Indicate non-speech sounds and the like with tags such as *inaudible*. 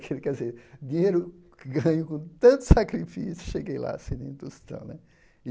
*unintelligible* quer dizer, dinheiro que ganho com tanto sacrifício, cheguei lá sem nem tostão né.